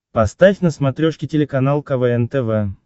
поставь на смотрешке телеканал квн тв